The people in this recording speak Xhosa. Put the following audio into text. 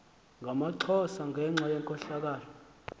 ngamaxhosa ngenxa yenkohlakalo